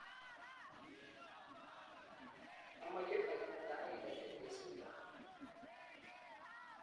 amoche aek netai eng tetet neisuldoi